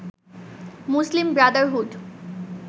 Muslim Brotherhood